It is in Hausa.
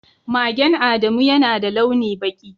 Magen Adamu yana da launi baki.